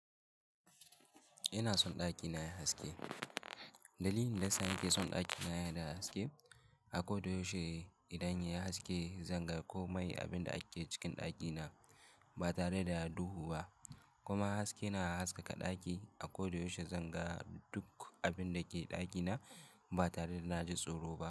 Ina son ɗakina yayi haske. Dalilin da yasa na ke son ɗakina yayi da haske, a koda yaushe idan yayi haske, zan ga komai abin da ake cikin ɗakina ba tare da duhu ba. Kuma haske na haskaka ɗaki, a koda yaushe zan ga duk abin da ke ɗakina ba tare da na ji tsoro ba.